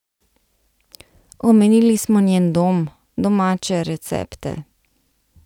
Omenili smo njen dom, domače recepte.